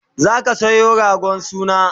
zaka Sayo ragon suna?